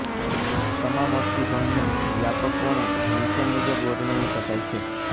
તમામ અસ્થિભંગને વ્યાપક પણે નીચે મુજબ વર્ણવી શકાય છેઃ